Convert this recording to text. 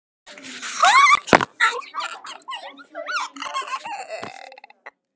Það voru bestu stundir hennar.